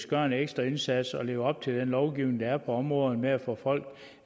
gøre en ekstra indsats og leve op til den lovgivning der er på området med at få folk